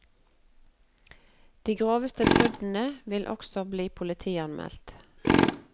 De groveste bruddene vil også bli politianmeldt.